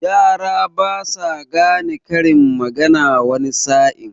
Yara basa gane karin magana wani sa'in.